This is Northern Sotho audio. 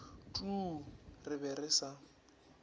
tuu re be re sa